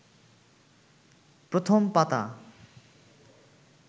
প্রথম পাতা